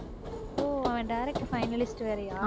ஓ அவன் direct finalist வேறயா